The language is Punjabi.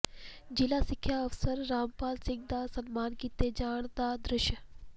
ਜ਼ਿਲ੍ਹਾ ਸਿੱਖਿਆ ਅਫ਼ਸਰ ਰਾਮਪਾਲ ਸਿੰਘ ਦਾ ਸਨਮਾਨ ਕੀਤੇ ਜਾਣ ਦਾ ਦ੍ਰਿਸ਼